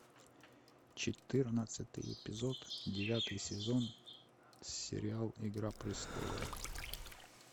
четырнадцатый эпизод девятый сезон сериал игра престолов